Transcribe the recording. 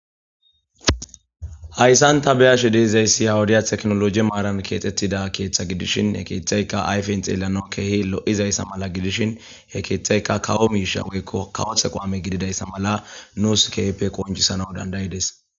Hayisani ta beyashe dizayisi ha wode tekkinoloje marani ketetida keeththa gidishinne he keththazikka ayifeni xeelanawi kehi loizayisa mala gidishini he keeththayikka kawo mishsha woyikko kawosi aqame gididayisa mala nus kehippe qoniicisnawu danidaidees